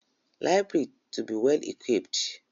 Library to be well-equipped.